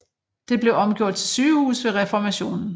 Det blev omgjort til sygehus ved Reformationen